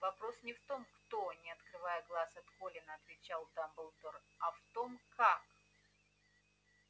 вопрос не в том кто не отрывая глаз от колина отвечал дамблдор а в том как